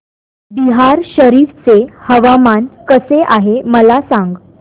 बिहार शरीफ चे हवामान कसे आहे मला सांगा